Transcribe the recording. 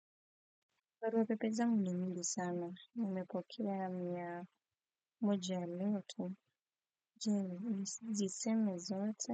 Barua pepe zangu ni mingi sana, nimepokea mia moja leo tu, je nizisome zote.